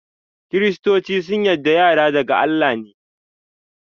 kiristoci sun yarda yara daga Allah ne.